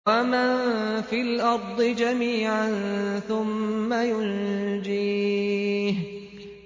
وَمَن فِي الْأَرْضِ جَمِيعًا ثُمَّ يُنجِيهِ